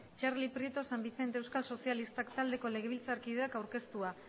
txarli prieto san vicente euskal sozialistak taldeko legebiltzarkideak aurkeztua